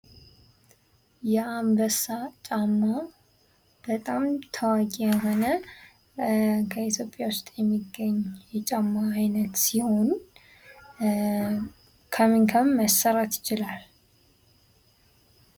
የአንበሳ ጫማ በጣም ታዋቂ የሆነ ከኢትዮጵያ ዉስጥ የሚገኝ የጫማ አይነት ሲሆኑ ከምን ከምን መሰራት ይችላል?